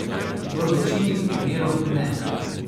V večini primerov ne.